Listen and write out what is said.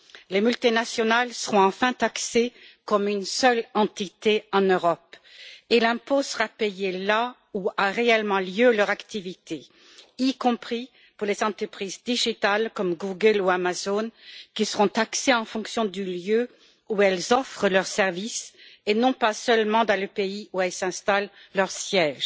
Les multinationales seront enfin taxées comme une seule entité en Europe et l'impôt sera payé là où a réellement lieu leur activité, y compris pour les entreprises numériques comme Google ou Amazon, qui seront taxées en fonction du lieu où elles offrent leurs services, et non pas seulement dans le pays où elles installent leur siège.